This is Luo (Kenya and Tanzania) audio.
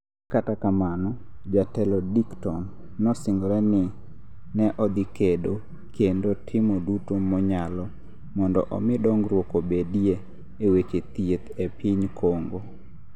Kata kamano, jatelo Dickton nosingore ni ne odhi kedo kendo timo duto monyalo mondo omi dongruok obedie e weche thieth e piny Congo.